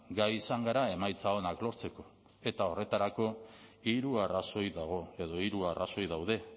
gai izan gara emaitza onak lortzeko eta horretarako hiru arrazoi dago edo hiru arrazoi daude